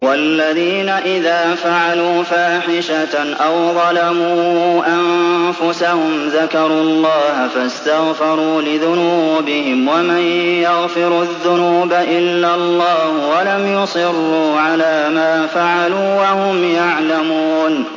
وَالَّذِينَ إِذَا فَعَلُوا فَاحِشَةً أَوْ ظَلَمُوا أَنفُسَهُمْ ذَكَرُوا اللَّهَ فَاسْتَغْفَرُوا لِذُنُوبِهِمْ وَمَن يَغْفِرُ الذُّنُوبَ إِلَّا اللَّهُ وَلَمْ يُصِرُّوا عَلَىٰ مَا فَعَلُوا وَهُمْ يَعْلَمُونَ